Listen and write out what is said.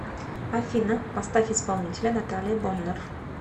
афина поставь исполнителя наталия боннер